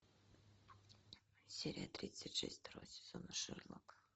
серия тридцать шесть второго сезона шерлок